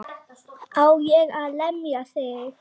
Á ég að lemja þig?